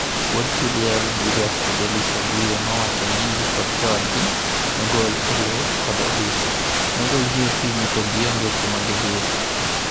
Wuod chi liel Julius Fedelis Wabwire nowacho mingi kod joodgi nogol e loo kod obila. Nogol gi okinyi to gionge kuma gidhie.